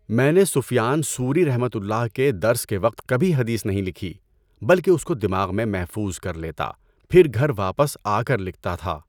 میں نے Sufyan Thawri کے درس کے وقت کبھی حدیث نہیں لکھی، بلکہ اس کو دماغ میں محفوظ کر لیتا، پھر گھر واپس آکر لکھتا تھا۔